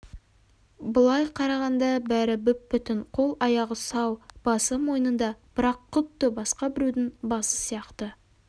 былай қарағанда бәрі бүп-бүтін қол-аяғы сау басы мойнында бірақ құдды басқа біреудің басы сияқты